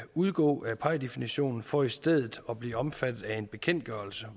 udgå af pie definitionen for i stedet at blive omfattet af en bekendtgørelse